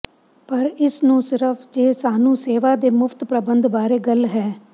ਪਰ ਇਸ ਨੂੰ ਸਿਰਫ ਜੇ ਸਾਨੂੰ ਸੇਵਾ ਦੇ ਮੁਫ਼ਤ ਪ੍ਰਬੰਧ ਬਾਰੇ ਗੱਲ ਹੈ